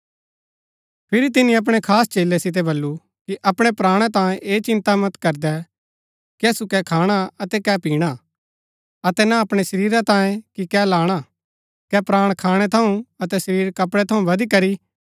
फिरी तिनी अपणै खास चेलै सितै वल्‍लु कि अपणै प्राणा तांयें ऐह चिन्ता मत करदै कि असु कै खाणा अतै कै पिणा अतै न अपणै शरीरा तांयें कि कै लाणा कै प्राण खाणै थऊँ अतै शरीर कपड़ै थऊँ बदिकरी